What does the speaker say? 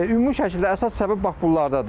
Ümumi şəkildə əsas səbəb bax bunlardadır.